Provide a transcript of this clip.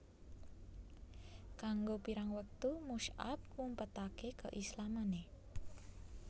Kanggo pirang wektu Mush ab ngumpetake keislamane